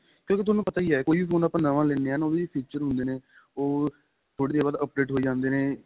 ਕਿਉਂਕਿ ਤੁਹਾਨੂੰ ਪਤਾ ਹੀ ਏ ਕੋਈ phone ਆਪਾਂ ਨਵਾ ਲੈਨੇ ਆ ਨਾ ਉਹਦੇ feature ਹੁੰਦੇ ਨੇ ਉਹ ਥੋੜੀ ਦੇਰ ਬਾਅਦ update ਹੋਈ ਜਾਂਦੇ ਨੇ